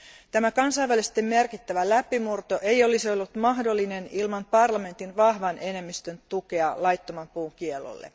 Tämä kansainvälisesti merkittävä läpimurto ei olisi ollut mahdollinen ilman parlamentin vahvan enemmistön tukea laittoman puun kiellolle.